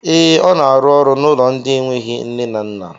Ee, ọ na arụ n'ụlọ ndị enweghị nne na nna